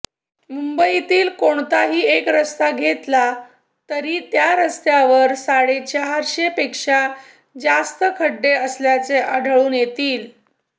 मुंबईतील कोणताही एक रस्ता घेतला तरी त्या रस्त्यावर साडेचारशे पेक्षा जास्त खड्डे असल्याचे आढळून येतील